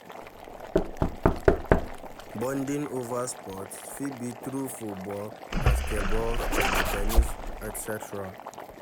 Bonding over sports fit be through football, basketball, table ten nis etc.